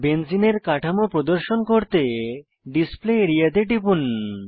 বেঞ্জিনের কাঠামো প্রদর্শন করতে ডিসপ্লে আরিয়া তে টিপুন